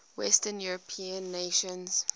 western european nations